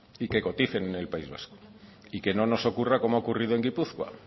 y que coticen en el país vasco y que no nos ocurra como ha ocurrido en gipuzkoa